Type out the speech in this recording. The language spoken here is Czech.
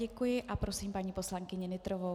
Děkuji a prosím paní poslankyni Nytrovou.